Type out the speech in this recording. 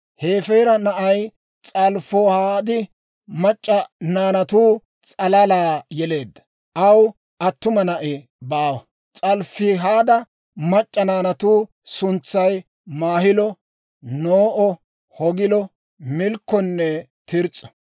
Hefeera na'ay S'alofihaad mac'c'a naanatu s'alalaa yeleedda; aw attuma na'i baawa. S'alofihaada mac'c'a naanatu suntsay Maahilo, No'o, Hoogilo, Milkkonne Tirs's'o.